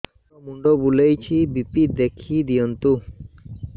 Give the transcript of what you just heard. ମୋର ମୁଣ୍ଡ ବୁଲେଛି ବି.ପି ଦେଖି ଦିଅନ୍ତୁ